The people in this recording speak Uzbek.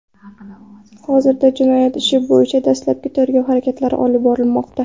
Hozirda jinoyat ishi bo‘yicha dastlabki tergov harakatlari olib borilmoqda.